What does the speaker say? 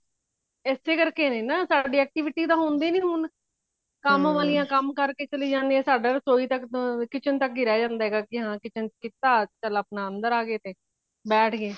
ਇਸੇ ਕਰਕੇ ਨੇ ਨਾ ਸਾਡੀ activity ਤਾਂ ਹੁੰਦੀ ਨਹੀਂ ਹੁਣ ਕੰਮ ਵਾਲਿਆ ਕੰਮ ਕਰਕੇ ਚਲੇ ਜਾਂਦੀਆਂ ਸਾਰਾ ਰਸੋਈ ਤੱਕ kitchen ਤੱਕ ਹੀ ਰਹਿ ਜਾਂਦਾ ਕਿ ਹਾਂ kitchen ਚ ਕੀਤਾ ਚੱਲ ਆਪਣਾ ਅੰਦਰ ਆ ਗਏ ਤੇ ਬੈਠ ਗਏ